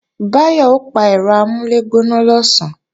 Báyọ̀ ó pa ẹ̀rọ amúlẹ̀gbóná lọ̀sán